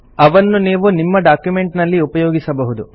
ಅವನ್ನು ನೀವು ನಿಮ್ಮ ಡಾಕ್ಯುಮೆಂಟ್ ನಲ್ಲಿ ಉಪಯೋಗಿಸಬಹುದು